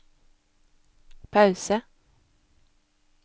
pause